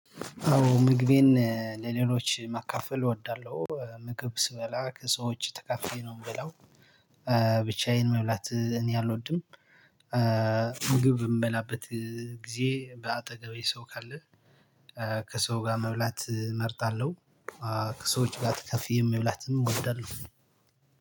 አዎ ምግቤን ለሌሎች መካፈል እወዳለሁ ምግብ ስበላ ከሰዎች ተከፍቼ ነው የምበለው። ብቻዬን መብላት እኔ አልወድም። ምግብ የምበላበት ጊዜ በአጠገቤ ሰው ካለ። ከሰው ጋር መብላት እመርጣለሁ። ከሰዎች ጋር ተከፍዬ የሚብላትን እወዳለሁ።